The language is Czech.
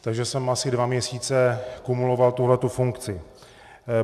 Takže jsem asi dva měsíce kumuloval tuhle funkci.